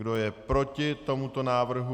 Kdo je proti tomuto návrhu?